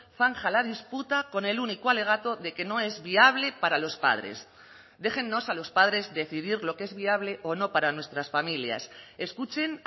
zanja la disputa con el único alegato de que no es viable para los padres déjennos a los padres decidir lo que es viable o no para nuestras familias escuchen